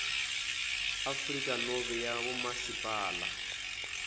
afrika nobe yabomasipala